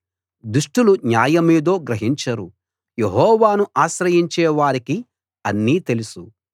దుష్టులు న్యాయమేదో గ్రహించరు యెహోవాను ఆశ్రయించే వారికి అన్నీ తెలుసు